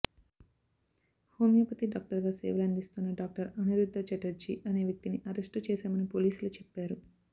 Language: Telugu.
హోమియోపతి డాక్టర్ గా సేవలందిస్తున్న డాక్టర్ అనిరుద్ద చటర్జీ అనే వ్యక్తిని అరెస్టు చేశామని పోలీసులు చెప్పారు